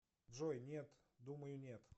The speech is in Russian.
джой нет думаю нет